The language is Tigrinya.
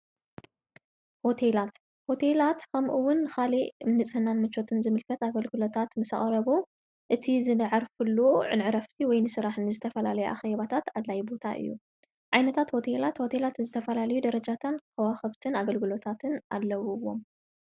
ሆቴላት ሆቴላት ኸምኡውን ኻሊእ ንጽሕና ንመቾትን ዝምልከት ኣገልግሎታት ምሰኣቐረቡ እቲ ዝዕርፍሉ ንዕረፍቲ ወይ ንስራሕኒ ንዝተፈላለዩ ኣኼባታት ኣድላይ ቦታ እዩ። ዓይነታት ሆቴላት ሆቴላት ዝተፈላልዩ ደረጃታትን ከዋኽብትን ኣገልግሎታትን ኣለዉዎም።